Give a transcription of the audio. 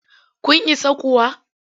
Kun isa kuwa?